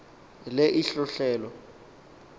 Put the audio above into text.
le ihlohle lo